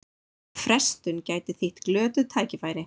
Frestun gæti þýtt glötuð tækifæri